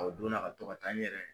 o donna ka to ka taa n yɛrɛ